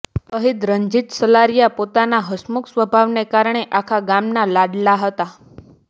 શહીદ રંજીત સલારિયા પોતાના હસમુખ સ્વભાવને કારણે આખા ગામના લાડલા હતા